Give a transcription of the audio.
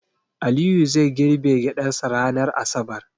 Aliyu zai girbe gyaɗarsa ranar asabar.